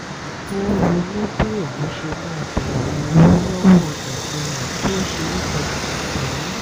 ó ronú nípa bí òun ṣe máa béèrè owó lọ́wọ́ ẹ̀gbọ́n rẹ̀ tó ṣeé fọkàn tán